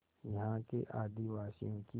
यहाँ के आदिवासियों की